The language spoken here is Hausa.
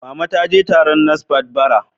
Mama ta je taron NASFAT, bara.